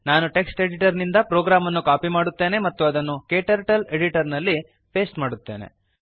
ನಾನು text editor ನಿಂದ program ಅನ್ನು ಕಾಪಿ ಮಾಡುತ್ತೇನೆ ಮತ್ತು ಅದನ್ನು ಕ್ಟರ್ಟಲ್ಸ್ Editorನಲ್ಲಿ ಪೇಸ್ಟ್ ಮಾಡುತ್ತೇನೆ